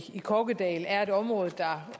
kokkedal er et område der